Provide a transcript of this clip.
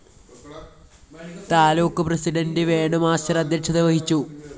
taluk president Venu master‍ അദ്ധ്യക്ഷത വഹിച്ചു